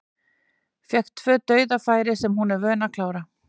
Fékk tvö dauðafæri sem hún er vön að klára.